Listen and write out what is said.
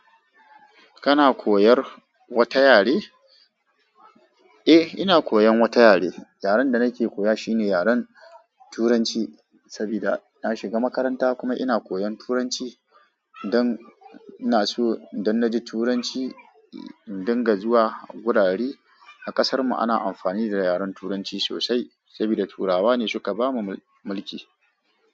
Kana koyar wata yare? Eh, ina koyan wata yare. Yaren da nake koya shine yaren Turanci saboda na shiga makaranta kuma ina koyan Turanci dan ina so idan na ji Turanci dinga zuwa wurare a kasar mu ana amfani da yaren Turanci sosai sabida Turawa ne suka ba mu mulki.